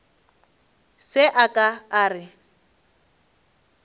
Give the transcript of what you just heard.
se a ka a re